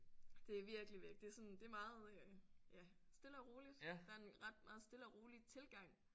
Det er virkelig det er sådan det er meget øh ja stille og roligt der er en ret meget stille og rolig tilgang